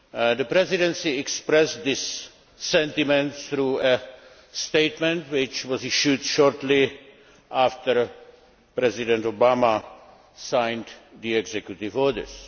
The Presidency expressed this sentiment through a statement which was issued shortly after President Obama signed the Executive Orders.